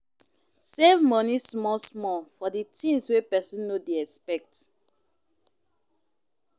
Save money small small for di things wey person no dey expect